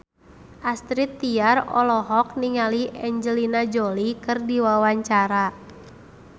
Astrid Tiar olohok ningali Angelina Jolie keur diwawancara